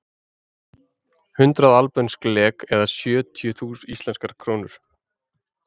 Hundrað albönsk lek eða sjötíu íslenskar krónur.